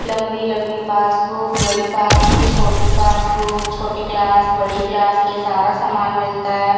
लंबी-लंबी पासबुक बड़ी पासबुक छोटी पासबुक छोटी क्लास बड़ी क्लास के सारा सामान मिलता है।